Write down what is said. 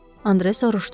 Andre soruşdu.